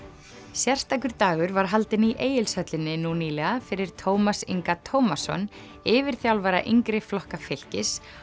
sérstakur dagur var haldinn í Egilshöllinni nú nýlega fyrir Tómas Inga Tómasson yfirþjálfara yngri flokka fylkis